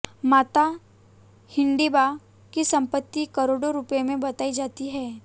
माता हिडिंबा की संपत्ति करोडों रुपए में बताई जाती है